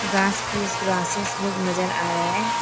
घास फूस ग्रासेस लोग नजर आ रहा है।